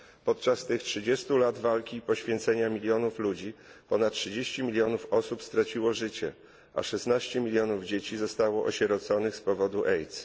Podczas tych trzydziestu lat walki i poświęcenia milionów ludzi ponad 30 milionów osób straciło życie, a 16 milionów dzieci zostało osieroconych z powodu AIDS.